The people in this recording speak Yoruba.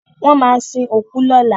Wọ́n máa sin òkú lọ́la.